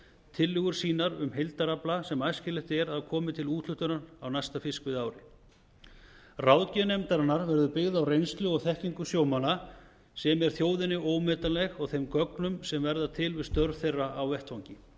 tillögur sínar um heildarafla sem æskilegt er að komi til úthlutunar á næsta fiskveiðiári ráðgjöf nefndarinnar verður byggð á reynslu og þekkingu sjómanna sem er þjóðinni ómetanleg og þeim gögnum sem verða til við störf þeirra á vettvangi